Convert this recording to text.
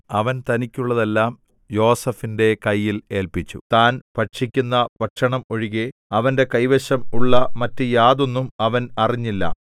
അവൻ തനിക്കുള്ളതെല്ലാം യോസേഫിന്റെ കയ്യിൽ ഏല്പിച്ചു താൻ ഭക്ഷിക്കുന്ന ഭക്ഷണം ഒഴികെ അവന്റെ കൈവശം ഉള്ള മറ്റു യാതൊന്നും അവൻ അറിഞ്ഞില്ല